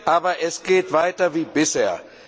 Aber es geht weiter wie bisher.